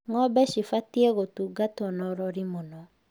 Ng'ombe cibatiĩ gũtungatwo na ũrori mũno